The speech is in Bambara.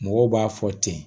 Mɔgɔw b'a fɔ ten